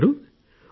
ప్రకాశ్ గారూ